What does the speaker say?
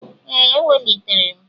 Ee, ewelitere m.